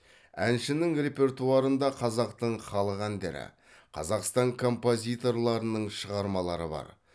әншінің репертуарында қазақтың халық әндері қазақстан композиторларының шығармалары бар